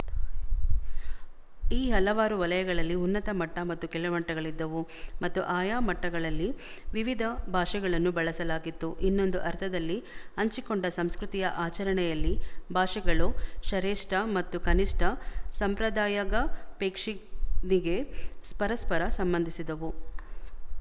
ಈ ಹಲವಾರು ವಲಯಗಳಲ್ಲಿ ಉನ್ನತ ಮಟ್ಟ ಮತ್ತು ಕೆಳಮಟ್ಟಗಳಿದ್ದವು ಮತ್ತು ಆಯಾ ಮಟ್ಟಗಳಲ್ಲಿ ವಿವಿಧ ಭಾಷೆಗಳನ್ನು ಬಳಸಲಾಗಿತ್ತು ಇನ್ನೊಂದು ಅರ್ಥದಲ್ಲಿ ಹಂಚಿಕೊಂಡ ಸಂಸ್ಕೃತಿಯ ಆಚರಣೆಯಲ್ಲಿ ಭಾಷೆಗಳು ಶರೇಶ್ಠ ಮತ್ತು ಕನಿಶ್ಠ ಸಂಪ್ರದಾಯಗಪೇಕ್ಷಿಂದಿಗೆ ಪರಸ್ಪರ ಸಂಬಂಧಿಸಿದವು